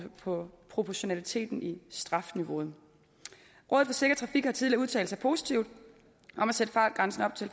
på proportionaliteten i strafniveauet rådet for sikker trafik har tidligere udtalt sig positivt om at sætte fartgrænsen op til